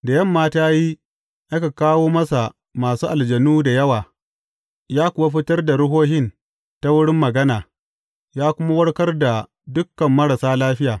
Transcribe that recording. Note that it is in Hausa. Da yamma ta yi, aka kawo masa masu aljanu da yawa, ya kuwa fitar da ruhohin ta wurin magana, ya kuma warkar da dukan marasa lafiya.